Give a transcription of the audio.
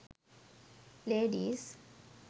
ladies